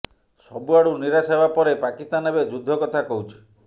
ସବୁଆଡୁ ନିରାଶ ହେବା ପରେ ପାକିସ୍ତାନ ଏବେ ଯୁଦ୍ଧ କଥା କହୁଛି